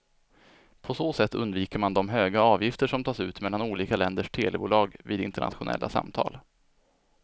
På så sätt undviker man de höga avgifter som tas ut mellan olika länders telebolag vid internationella samtal.